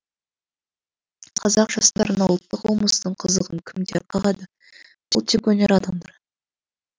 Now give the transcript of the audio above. қазақ жастарына ұлттық болмыстың қызығын кімдер қағады ол тек өнер адамдары